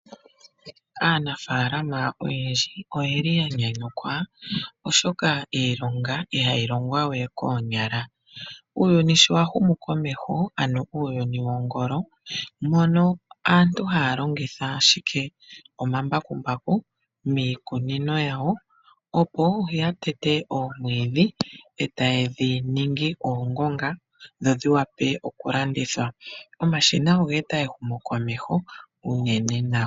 Aanafalama oyendji oyeli ya nyanyukwa oshoka iilonga oyindji ihayi longwa we koonyala. Uuyuni sho wa humu komeho ano uuyuni wo ngolo, mono asntu haya longitha omambakumbaku miikunino yawo, opo ya tete oomwidhi, eta yedhi ningi oongonga, dho dhili vule oku landithwa. Omashina oga eta ehumo komeho uunene nawa.